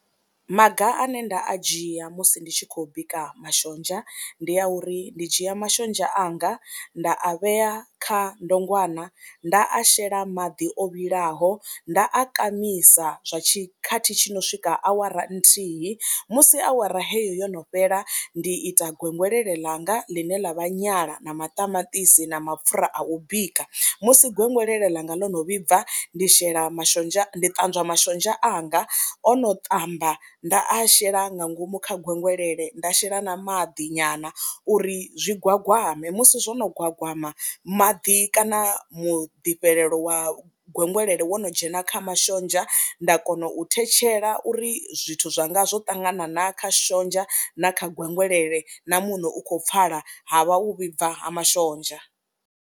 Maga ane nda a dzhia musi ndi tshi khou bika mashonzha ndi a uri ndi dzhia mashonzha anga nda a vhea kha ndongwana nda a shela maḓi o vhilaho, nda a kamisa zwa tshikhathi tshi no swika awara nthihi. Musi awara heyo yo no fhela ndi ita gwengwelele ḽanga ḽine ḽa vha nyala na maṱamaṱisi na mapfhura a u bika, musi gwegwelelo ḽanga ḽo no vhibva ndi shela mashonzha, ndi ṱanzwa mashonzha anga o no ṱamba nda a shela nga ngomu kha gwengwelele nda a shela na maḓi nyana uri zwi gwagwame, musi zwo no gwagwama maḓi kana muḓifhelelo wa gwegwelele wo no dzhena kha mashonzha nda kona u thetshela uri zwithu zwanga zwo ṱangana na kha mashonzha na kha gwengwelele na muṋo u khou pfhala ha vha u vhibva ha mashonzha.